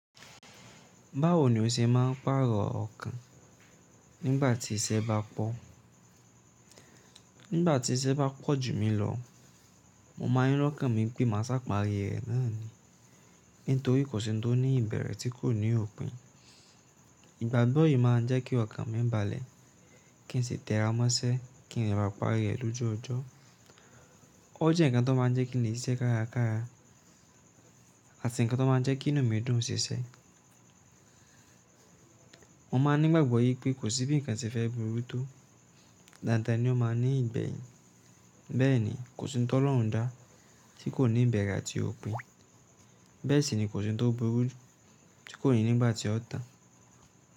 Báwo ni o ṣe máa ń pàrọ̀ ọkàn nígbà tí iṣẹ́ bá pọ̀? Nígbà tí iṣẹ́ bá pọ̀ jù mí lọ, mo máa ń rọkàn mí pé màá ṣàparí rẹ̀ náà ni. Nítorí kò sí ohun tó ní ìbẹ̀rẹ̀ tí kò ní òpin. Ìgbàgbọ́ yìí máa ń jẹ́ kí ọkàn mí balẹ̀, kí n sì tẹ́ra mọ́ṣẹ́, kí n lè ba pàri rẹ̀ lójú ọjọ́. Ó jẹ́ ǹkan tó máa ń jẹ́ kí lè ṣiṣẹ́ kárakára àti ǹkan tó máa ń jẹ́ kí inú mi dùn ṣiṣẹ́. Mo máa ńi gbàgbọ́ wípé kò sí bí ǹkan ṣe fẹ́ burú tó. Dáadáa ni ó máa ní ìgbẹ̀yìn. Bẹ́ẹ̀ni, kò sí ohun tó lohunda tí kò ní ìbẹ̀rẹ̀ àti òpin. Bẹ́ẹ̀ sì ni kò sí ohun tó burú tí kò ní nígbà tí ó tàn.